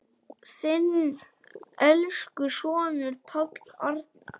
Þinn elsku sonur, Páll Arnar.